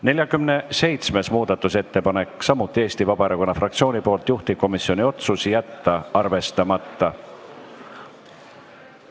47. muudatusettepanek on samuti Eesti Vabaerakonna fraktsioonilt, juhtivkomisjoni otsus: jätta arvestamata.